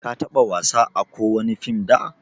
ka taba wasa ã kowani fim da?